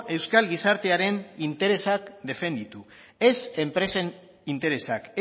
euskal gizartearen interesak defenditu ez enpresen interesak